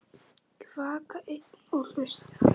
Að vaka einn og hlusta